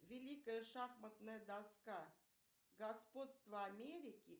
великая шахматная доска господство америки